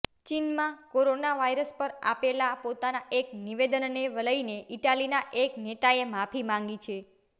ચીનમાં corona virus પર આપેલા પોતાના એક નિવેદનને લઇને ઇટલીના એક નેતાએ માફી માંગી છે